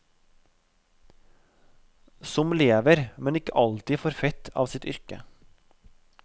Som lever, men ikke alltid for fett, av sitt yrke.